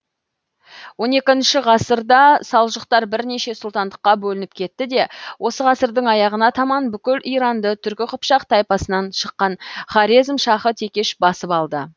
он екінші ғасырда салжұқтар бірнеше сұлтандыққа бөлініп кетті де осы ғасырдың аяғына таман бүкіл иранды түркі қыпшақ тайпасынан шыққан хорезм шахы текеш басып алды